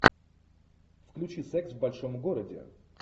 включи секс в большом городе